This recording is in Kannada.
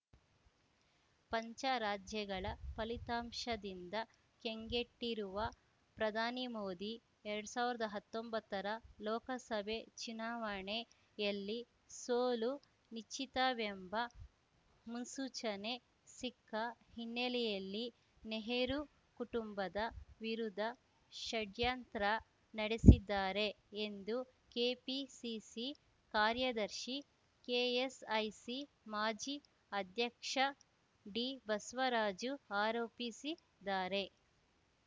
ಪಂಚ ರಾಜ್ಯಗಳ ಫಲಿತಾಂಶದಿಂದ ಕಂಗೆಟ್ಟಿರುವ ಪ್ರಧಾನಿ ಮೋದಿ ಎರಡ್ ಸಾವಿರ್ದ್ ಹತ್ತೊಂಬತ್ತರ ಲೋಕಸಭೆ ಚುನಾವಣೆಯಲ್ಲಿ ಸೋಲು ನಿಶ್ಚಿತವೆಂಬ ಮುನ್ಸೂಚನೆ ಸಿಕ್ಕ ಹಿನ್ನೆಲೆಯಲ್ಲಿ ನೆಹರೂ ಕುಟುಂಬದ ವಿರುದ್ಧ ಷಡ್ಯಂತ್ರ ನಡೆಸಿದ್ದಾರೆ ಎಂದು ಕೆಪಿಸಿಸಿ ಕಾರ್ಯದರ್ಶಿ ಕೆಎಸ್‌ಐಸಿ ಮಾಜಿ ಅಧ್ಯಕ್ಷ ಡಿಬಸ್ವರಾಜು ಆರೋಪಿಸಿದ್ದಾರೆ